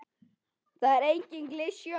Það er engin klisja.